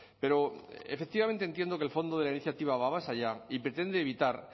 pero efectivamente entiendo que el fondo de la iniciativa va más allá y pretende evitar